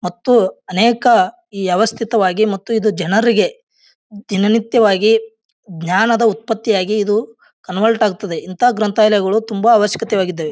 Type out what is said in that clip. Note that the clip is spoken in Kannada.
ಮತ್ತು ಅನೇಕ ವ್ಯವಸ್ಥಿತವಾಗಿ ಮತ್ತು ಇದು ಜನರಿಗೆ ದಿನ ನಿತ್ಯವಾಗಿ ಜ್ಞಾನದ ಉತ್ಪತ್ತಿಯಾಗಿ ಇದು ಕನ್ವರ್ಟ್ ಆಗ್ತದೆ ಇಂಥ ಗ್ರಂಥಾಲಯಗಳು ತುಂಬಾ ಅವಶ್ಯಕವಾಗಿದ್ದಾವೆ.